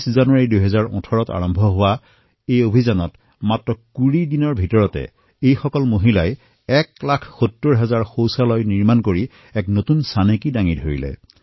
২৬ জানুৱাৰী ২০১৮ৰ পৰা আৰম্ভ হোৱা এই অভিযানৰ অন্তৰ্গত মাত্ৰ ২০ দিনত এই মহিলাসকলে ৭০ হাজাৰ শৌচালয় নিৰ্মাণ কৰি এক নতুন অভিলেখ ৰচনা কৰিলে